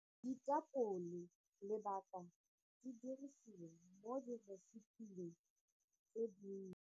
Ditapole lebaka di dirisiwa mo di-recipe-ng tse dintsi.